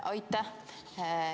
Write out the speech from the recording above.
Aitäh!